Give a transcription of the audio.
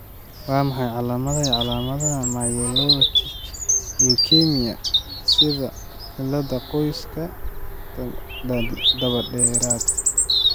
Waa maxay calaamadaha iyo calaamadaha Myelocytic leukemia sida cilladda, qoyska, dabadheeraad?